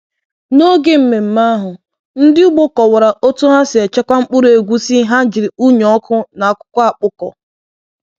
N’oge mmemme ahụ, ndị ugbo kọwara otú ha si echekwa mkpụrụ egusi ha jiri unyi ọkụ na akwụkwọ akpụkọ.